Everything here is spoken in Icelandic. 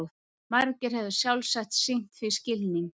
Margir hefðu sjálfsagt sýnt því skilning.